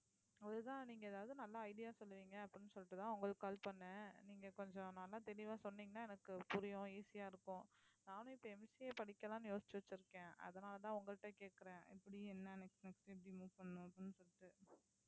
அதுதான் நீங்க எதாவது நல்ல idea சொல்லுவீங்க அப்படின்னு சொல்லிட்டுதான் உங்களுக்கு call பண்ணேன் நீங்க கொஞ்சம் நல்லா தெளிவா சொன்னீங்கன்னா எனக்கு புரியும் easy ஆ இருக்கும். நானும் இப்ப MCA படிக்கலாம்ன்னு யோசிச்சு வச்சிருக்கேன் அதனாலதான் உங்கள்ட்ட கேட்கிறேன் எப்படி என்ன next next எப்படி move பண்ணணும் அப்படின்னு சொல்லிட்டு